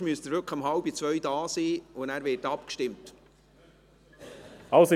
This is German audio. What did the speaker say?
sonst müssten Sie wirklich um 13.30 Uhr hier sein, sodass dann abgestimmt würde.